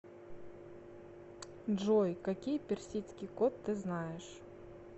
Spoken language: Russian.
джой какие персидский кот ты знаешь